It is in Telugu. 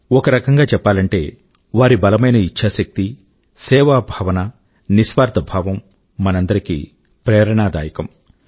ఒక రకం గా చెప్పాలంటే వారి బలమైన ఇఛ్చాశక్తి సేవా భావన నిస్వార్థ భావం మనందరికీ ప్రేరణాదాయకం